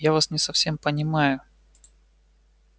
я вас не совсем понимаю